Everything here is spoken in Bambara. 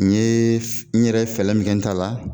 N yee n yɛrɛ ye fɛlɛ min kɛ n ta la